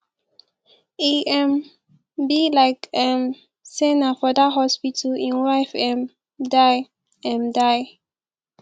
e um be like um say na for dat hospital im wife um die um die